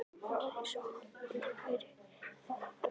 Það var eins og Halli væri að fara að gráta.